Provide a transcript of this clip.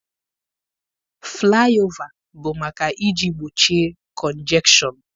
Flaị ova bụ maka iji gbochie kọnjekshọn.